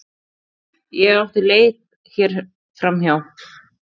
Ég átti hér leið hjá.